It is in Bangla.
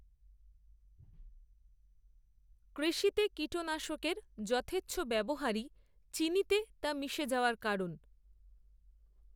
কৃষিতে কীটনাশকের যথেচ্ছ ব্যবহারই, চিনিতে তা মিশে যাওয়ার কারণ